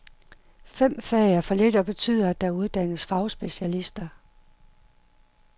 Fem fag er for lidt og betyder, at der uddannes fagspecialister.